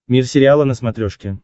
мир сериала на смотрешке